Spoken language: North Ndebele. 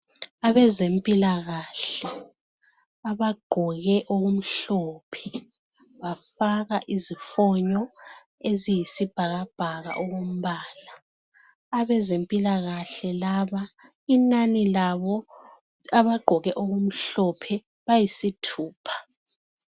Abazempilakahle abagqoke okumhlophe bafaka izifonyo eziyisibhakabhaka okombala. Abezempilakahle laba inani labo abagqoke okumhlophe bayisithupha.